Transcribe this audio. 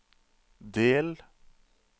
del